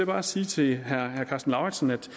bare sige til herre karsten lauritzen at